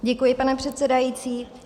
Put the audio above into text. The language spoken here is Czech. Děkuji, pane předsedající.